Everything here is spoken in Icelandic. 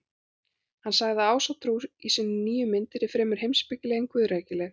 Hann sagði að Ásatrú í sinni nýju mynd yrði fremur heimspekileg en guðrækileg.